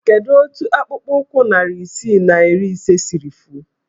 Kedu otu akpụkpọụkwụ narị isii na iri ise siri fuo?